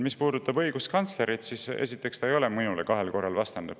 Mis puudutab õiguskantslerit, siis esiteks, ta ei ole mulle kahel korral vastanud.